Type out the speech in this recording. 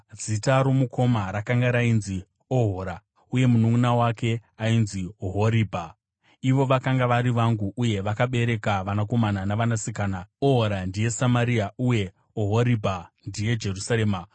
Zita romukoma rainzi Ohora, uye mununʼuna wake ainzi Ohoribha. Ivo vakanga vari vangu uye vakabereka vanakomana navanasikana. Ohora ndiye Samaria uye Ohoribha ndiye Jerusarema.